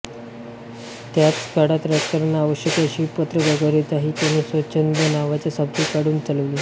त्याच काळात राजकारणात आवश्यक अशी पत्रकारिताही त्यांनी स्वच्छंद नावाचे साप्ताहिक काढून चालवली